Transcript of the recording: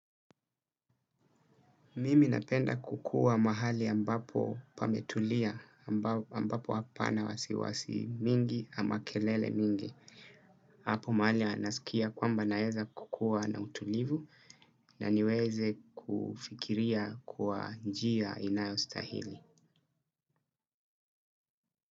Mimi napenda kukua mahali ambapo pametulia, ambapo hapana wasiwasi mingi ama kelele mingi. Apo mahali nasikia kwamba naezakukua na utulivu na niweze kufikiria kwa njia inayostahili.